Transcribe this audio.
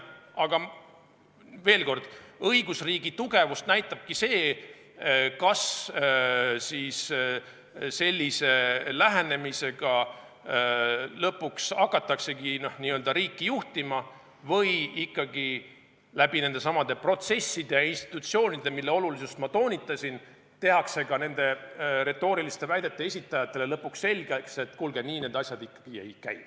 Aga veel kord: õigusriigi tugevust näitabki see, kas sellise lähenemisega hakataksegi lõpuks riiki juhtima või tehakse ikkagi läbi nendesamade protsesside ja institutsioonide, mille olulisust ma toonitasin, ka nende retooriliste väidete esitajatele lõpuks selgeks, et kuulge, nii need asjad ei käi.